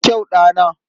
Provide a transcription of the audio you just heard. Da kyau, ɗana!